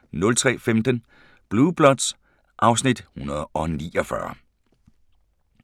03:15: Blue Bloods (Afs. 149)